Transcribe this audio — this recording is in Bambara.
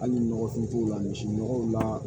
Hali nɔgɔfinw la misi nɔgɔw la